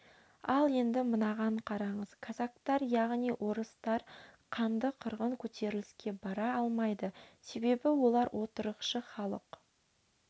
ал енді мынаған қараңыз казактар яғни орыстар қанды қырғын көтеріліске бара алмайды себебі олар отырықшы халық